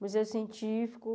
Museu Científico.